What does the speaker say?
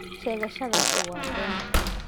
Sheegashadaasi waa been.